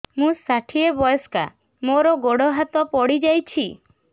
ମୁଁ ଷାଠିଏ ବୟସ୍କା ମୋର ଗୋଡ ହାତ ପଡିଯାଇଛି